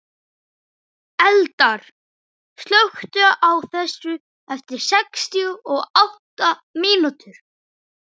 Eldar, slökktu á þessu eftir sextíu og átta mínútur.